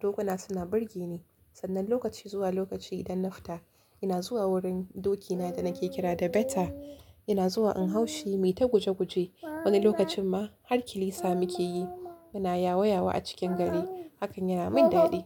Dokuna suna burge ni. Sannan lokaci zuwa lokaci idan na fita, ina zuwa wurin dokina da nake kira da Beta. Ina zuwa in hau shi, yayi ta guje guje. Wani lokacin ma har kilisa muke yi muna yawo yawo a cikin gari. Hakan yana min daɗi.